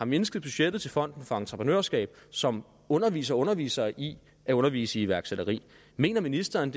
mindsket budgettet til fonden for entreprenørskab som underviser og underviser i at undervise i iværksætteri mener ministeren